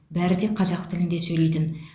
бәрі де қазақ тілінде сөйлейтін